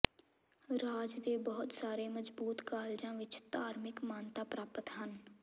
ਰਾਜ ਦੇ ਬਹੁਤ ਸਾਰੇ ਮਜਬੂਤ ਕਾਲਜਾਂ ਵਿੱਚ ਧਾਰਮਿਕ ਮਾਨਤਾ ਪ੍ਰਾਪਤ ਹਨ